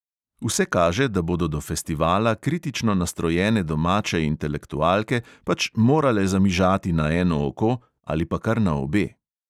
Vse kaže, da bodo do festivala kritično nastrojene domače intelektualke pač morale zamižati na eno oko ali pa kar na obe.